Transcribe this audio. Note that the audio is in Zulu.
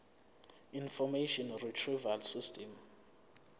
information retrieval system